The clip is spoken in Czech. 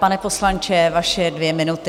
Pane poslanče, vaše dvě minuty.